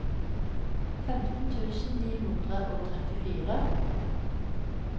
femten tusen ni hundre og trettitre